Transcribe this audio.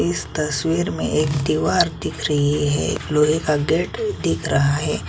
इस तस्वीर में एक दीवार दिख रही है एक लोहे का गेट दिख रहा है।